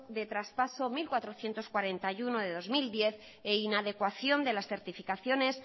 de traspaso mil cuatrocientos cuarenta y uno de dos mil diez e inadecuación de las certificaciones